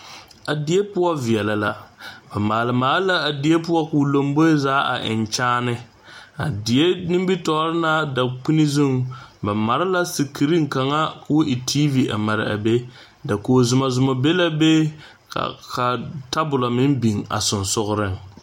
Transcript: A die poɔ veɛlɛ la ba maale maale a die a die poɔ koɔ lomboe zaa a eŋe kyaane a die nimitɔre na dakpine zuŋ, ba mare la sikireŋ kaŋa. koɔ e kyaane lɛ a mare a be dakogi Zuma Zuma. be la be ka tabolɔ meŋ biŋ a sensɔreŋ.